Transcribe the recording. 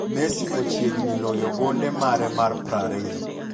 Messi ochiegni loyo gonde mare mar 20.